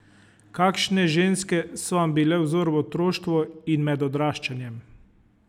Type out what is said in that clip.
Kakšne ženske so vam bile vzor v otroštvu in med odraščanjem?